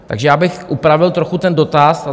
Takže já bych upravil trochu ten dotaz.